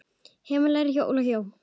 Heimir lærði hjá Óla Jó.